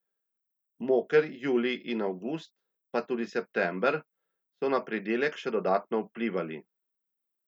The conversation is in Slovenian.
Moker julij in avgust, pa tudi september, so na pridelek še dodatno vplivali.